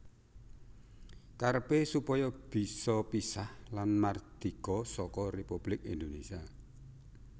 Karepé supaya bisa pisah lan mardika saka Républik Indonésia